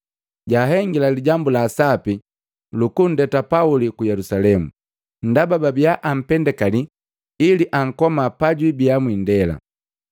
jahengila lijambu la sapi luku nndeta Pauli ku Yelusalemu, ndaba babiya ampendakali ili ankoma pajwiibia mwindela.